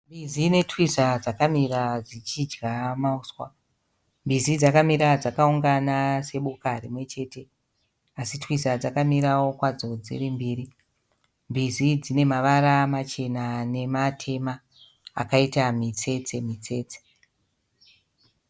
Mbizi netwiza dzakamira dzichidya mahuswa. Mbizi dzakamira dzakaungana seboka rimwe chete asi twiza dzakamirawo kwadzo dziri mbiri. Mbizi dzine mavara machena nematema akaita mitsetse -mitsetse.